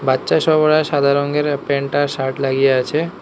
বাচ্চা সব ওরা সাদা রংয়ের প্যান্ট আর শার্ট লাগিয়ে আছে।